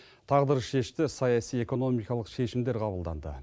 тағдыршешті саяси экономикалық шешімдер қабылданды